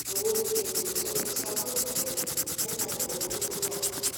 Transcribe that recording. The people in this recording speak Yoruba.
ewo ni eto itọju ti a gbọdọ tẹle lẹhin ayẹwo follicular